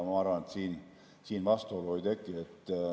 Ma arvan, et siin vastuolu ei teki.